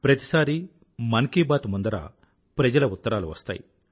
ప్రతిసారీ మన్ కీ బాత్ ముందర ప్రజల ఉత్తరాలు వస్తాయి